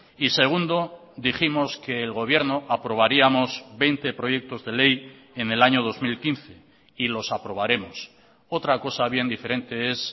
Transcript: y segundo dijimos que el gobierno aprobaríamos veinte proyectos de ley en el año dos mil quince y los aprobaremos otra cosa bien diferente es